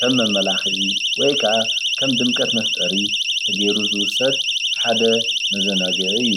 ከም መማላክዒ ወይ ከዓ ድምቀት መፍጠሪ ተገይሩ ዝውሰድ ሓደ መዘናግዒ እዩ።